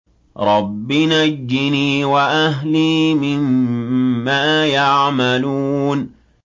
رَبِّ نَجِّنِي وَأَهْلِي مِمَّا يَعْمَلُونَ